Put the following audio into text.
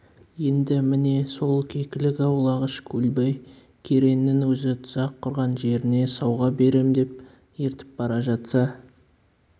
енді міне сол кекілік аулағыш көлбай кереңнің өзі тұзақ құрған жеріне сауға берем деп ертіп бара жатса